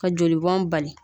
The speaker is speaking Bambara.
Ka jolibɔn bali